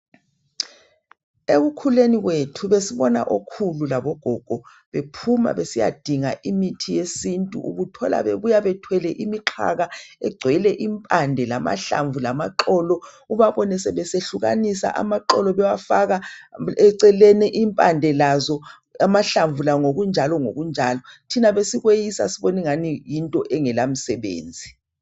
Ekukhuleni kwethu besibona okhulu labogogo bephuma besiyadinga imithi yesintu ubuthola bebuya bethwele imixhaka egcwele impande, lamahlamvu lamaxolo, ubabone sebesehlukanisa amaxolo bewafaka eceleni, impande lazo amahlamvu lawo ngokunjalo ngokunjalo. Thina besikweyisa siboningani yinto engelamsebenzi.